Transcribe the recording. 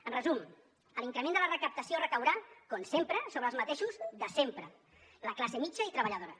en resum l’increment de la recaptació recaurà com sempre sobre els mateixos de sempre la classe mitjana i treballadora